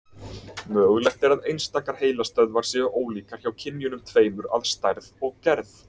Mögulegt er að einstakar heilastöðvar séu ólíkar hjá kynjunum tveimur að stærð og gerð.